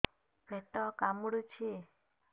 ପେଟ କାମୁଡୁଛି